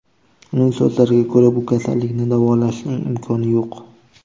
Uning so‘zlariga ko‘ra, bu kasallikni davolashning imkoni yo‘q.